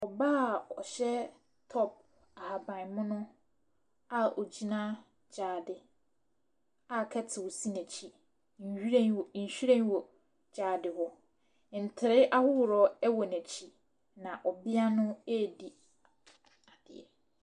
Ↄbaa a ɔhyɛ top ahaban mono a ɔgyina gyaade a kettle si n’akyi. Nwiren wo Nhyiren wɔ gyaade hɔ. Ntere ahoroɔ wɔ n’akyi ɔbea no redi.